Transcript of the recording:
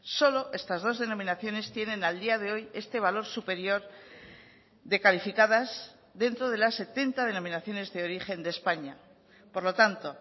solo estas dos denominaciones tienen al día de hoy este valor superior de calificadas dentro de las setenta denominaciones de origen de españa por lo tanto